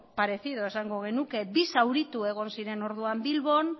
parecido esango genuke bi zauritu egon ziren orduan bilbon